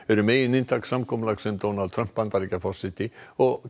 eru megininntak samkomulags sem Donald Trump Bandaríkjaforseti og